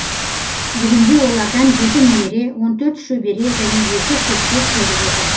бүгінде олардан жеті немере он төрт шөбере және екі шөпшек көріп отыр